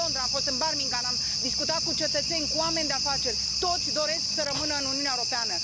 fost în Londra, am fost în Birmingham, am discutat cu cetățeni, cu oameni de afaceri toți doresc să rămână în Uniunea Europeană.